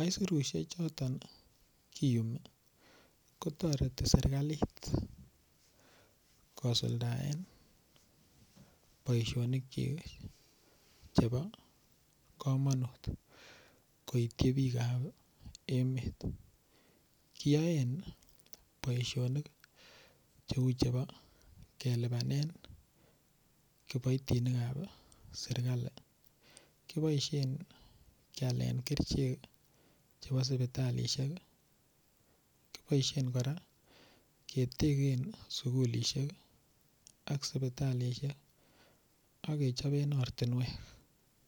aisurushek choton kiyumi kotoreti serikalit kosuldaen boishonik chi chebo komonut koitchi biik ap emet kiyoen boishonik cheu chebo kelipanen kiboitinik ap serikali kiboishen kialen kerchek chebo sipitalishek kiboishen kora keteken sukulishek ak sipitalishek akechopen ortinwek.